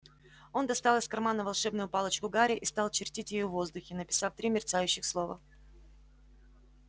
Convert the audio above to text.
он достал из кармана волшебную палочку гарри и стал чертить ею в воздухе написав три мерцающих слова